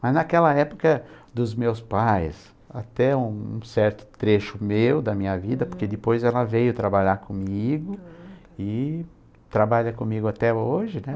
Mas naquela época dos meus pais, até um certo trecho meu, da minha vida, porque depois ela veio trabalhar comigo e trabalha comigo até hoje, né?